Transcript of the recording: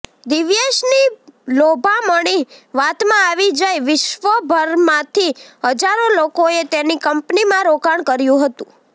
દિવ્યેશની લોભામણી વાતમાં આવી જઇ વિશ્વભરમાંથી હજારો લોકોએ તેની કંપનીમાં રોકાણ કર્યું હતું